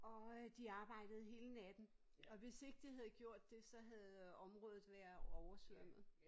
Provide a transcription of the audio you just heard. Og øh de arbejde hele natten og hvis ikke de havde gjort det så havde området været oversvømmet